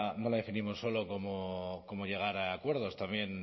no la definimos solo como llegar a acuerdos también